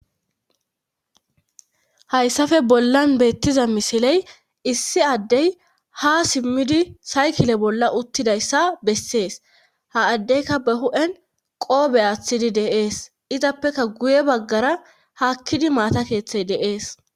hayssafe bollan beettiza misiley issi addey ha simmidi saykile bolla uttidayssa bessees ha addeyka ba hu7en qoobe aaththidi deees izappeka guye baggara hakkidi maata keeththey deees